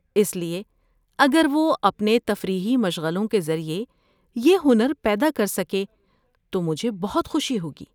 اس لیے اگر وہ اپنے تفریحی مشغلوں کے ذریعے یہ ہنر پیدا کر سکے تو مجھے بہت خوشی ہوگی۔